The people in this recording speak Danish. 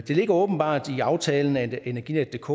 ligger åbenbart i aftalen at energinetdk